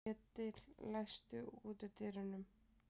Edil, læstu útidyrunum.